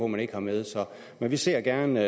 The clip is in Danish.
man ikke har med men vi ser gerne